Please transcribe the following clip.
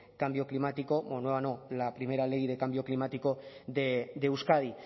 cambio climático nueva no la primera ley de cambio climático de euskadi